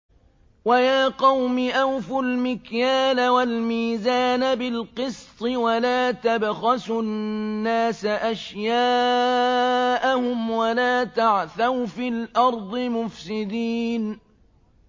وَيَا قَوْمِ أَوْفُوا الْمِكْيَالَ وَالْمِيزَانَ بِالْقِسْطِ ۖ وَلَا تَبْخَسُوا النَّاسَ أَشْيَاءَهُمْ وَلَا تَعْثَوْا فِي الْأَرْضِ مُفْسِدِينَ